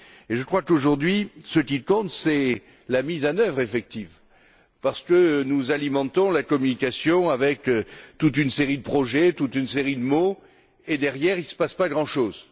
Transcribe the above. Je crois que ce qui compte aujourd'hui, c'est la mise en œuvre effective parce que nous alimentons la communication avec toute une série de projets, toute une série de mots, et, derrière, il ne se passe pas grand chose.